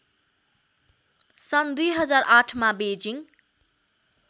सन् २००८मा बेइजिङ